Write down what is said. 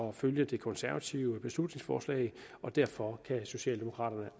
at følge det konservative beslutningsforslag og derfor kan socialdemokraterne